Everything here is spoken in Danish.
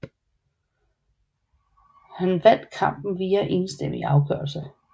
Han vandt kampen via enstemmig afgørelse